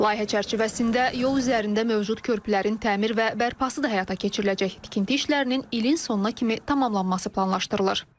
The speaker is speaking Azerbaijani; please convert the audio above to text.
Layihə çərçivəsində yol üzərində mövcud körpülərin təmir və bərpası da həyata keçiriləcək, tikinti işlərinin ilin sonuna kimi tamamlanması planlaşdırılır.